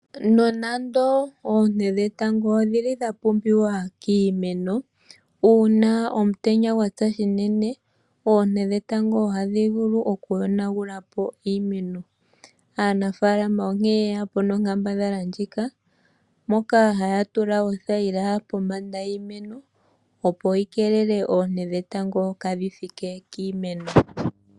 Nonando oonte dhetango odhi li dha pumbiwa kiimeno, uuna omutenya gwa tsa shinene oonte dhetango ohadhi vulu okuyonagula po iimeno, aanafaalama onkee ye ya po nonkambadhala ndjika moka haya tula othayila pombanda yiimeno opo yi keelele oonte dhetango kaadhi thike kiimeno.